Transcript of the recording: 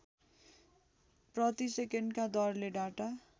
प्रतिसेकेन्डका दरले डाटा